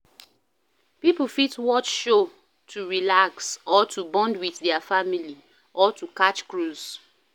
Pipo fit watch show to relax or to bond with their family or to catch cruise